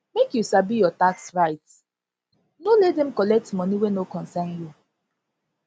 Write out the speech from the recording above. make you sabi your tax rights your tax rights no let dem collect money wey no concern you